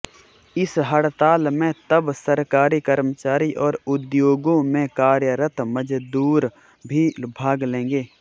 इस हड़ताल में तब सरकारी कर्मचारी और उद्योगों में कार्यरत मजदूर भी भाग लेंगे